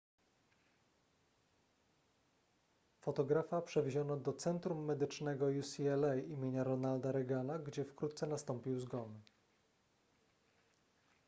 fotografa przewieziono do centrum medycznego ucla im ronalda reagana gdzie wkrótce nastąpił zgon